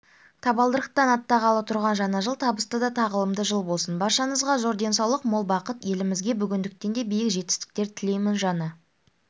табалдырықтан аттағалы тұрған жаңа жыл табысты да тағылымды жыл болсын баршаңызға зор-денсаулық мол бақыт елімзіге бүгінгіден де биік жетістіктер тілеймін жаңа